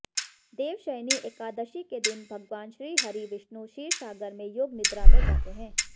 देवशयनी एकादशी के दिन भगवान श्रीहरि विष्णु क्षीरसागर में योगनिद्रा में जाते हैं